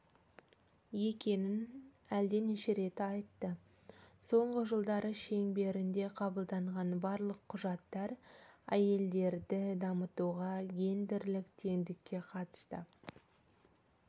екенін әлденеше рет айтты соңғы жылдары шеңберінде қабылданған барлық құжаттар әйелдерді дамытуға гендерлік теңдікке қатысты